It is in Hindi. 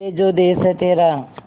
ये जो देस है तेरा